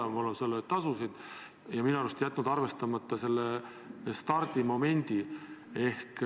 Minu arvates olete te jätnud arvestamata selle stardimomendi ehk ...